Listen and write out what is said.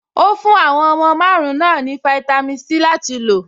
Ó fún àwọn ọmọ márùn-ún náà ní fáítámì Sí láti lò.